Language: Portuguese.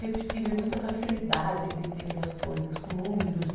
Sempre tive muita facilidade de entender as coisas, com número de...